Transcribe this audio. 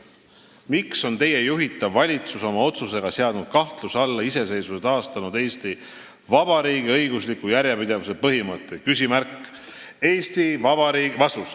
"Miks on Teie juhitav valitsus oma otsusega seadnud kahtluse alla iseseisvuse taastanud Eesti Vabariigi õigusliku järjepidevuse põhimõtte?